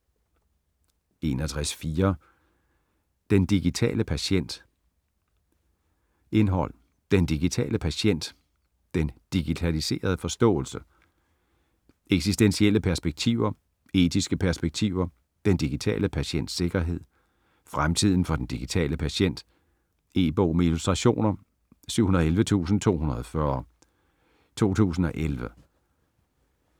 61.4 Den digitale patient Indhold: Den digitale patient ; Den digitaliserede forståelse ; Eksistentielle perspektiver ; Etiske perspektiver ; Den digitale patients sikkerhed ; Fremtiden for den digitale patient. E-bog med illustrationer 711240 2011.